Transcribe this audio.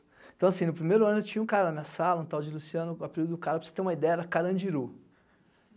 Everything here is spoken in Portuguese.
Então assim, no primeiro ano eu tinha um cara na minha sala, um tal de Luciano, o apelido do cara, para você ter uma ideia, era Carandiru.